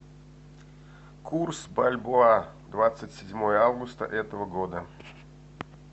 курс бальбоа двадцать седьмое августа этого года